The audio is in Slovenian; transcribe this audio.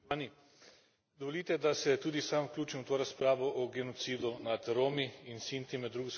Dovolite, da se tudi sam vključim v to razpravo o genocidu nad Romi in Sinti med drugo svetovno vojno.